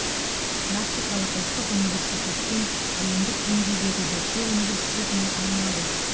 классикалық ұлттық университеттен әлемдік деңгейдегі зерттеу университетіне айналу